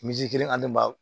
kelen ani ba